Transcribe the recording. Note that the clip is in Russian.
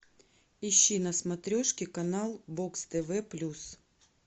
ищи на смотрешке канал бокс тв плюс